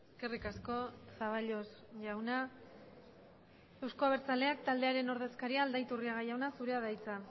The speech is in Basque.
eskerrik asko zaballos jauna euzko abertzaleak taldearen ordezkaria aldaiturriaga jauna zurea da hitza